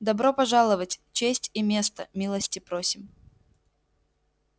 добро пожаловать честь и место милости просим